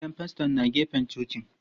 Gidan faston na gefen cocin.